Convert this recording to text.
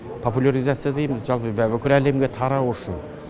популяризация дейміз жалпы бүкіл әлемге тарау үшін